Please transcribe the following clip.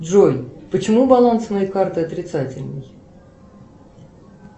джой почему баланс моей карты отрицательный